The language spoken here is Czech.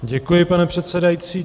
Děkuji, pane předsedající.